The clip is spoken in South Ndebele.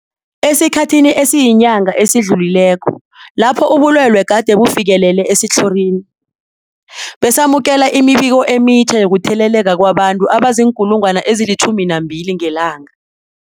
Esikhathini esiyinyanga esidlulileko lapho ubulwele gade bufikelele esitlhorini, besamukela imibiko emitjha yokutheleleka kwabantu abazii-12 000 ngelanga.